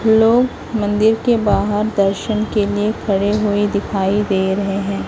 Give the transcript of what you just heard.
लोग मंदिर के बाहर दर्शन के लिए खड़े हुए दिखाई दे रहे हैं।